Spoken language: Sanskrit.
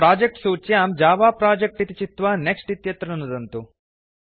प्रोजेक्ट् सूच्यां जव प्रोजेक्ट् इति चित्वा नेक्स्ट् इत्यत्र नुदन्तु